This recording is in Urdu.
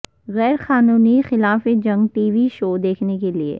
غیر قانونی خلاف جنگ ٹی وی شو دیکھنے کے لئے